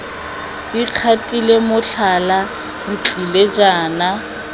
ikgatile motlhala re tlile jaana